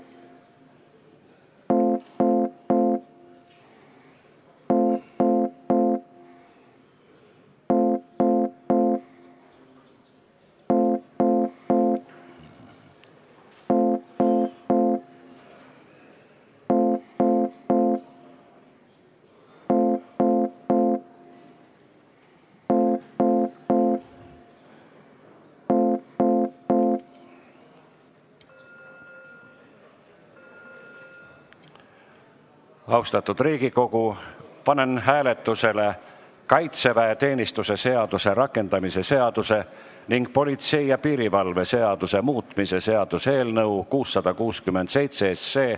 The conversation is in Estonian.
Lugupeetud Riigikogu, panen hääletusele kaitseväeteenistuse seaduse rakendamise seaduse ning politsei ja piirivalve seaduse muutmise seaduse eelnõu 667.